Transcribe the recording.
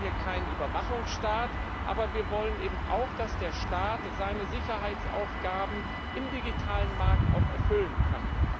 Wir wollen hier keinen Überwachungsstaat, aber wir wollen eben auch, dass der Staat seine Sicherheitsaufgaben auch im digitalen Markt erfüllen kann.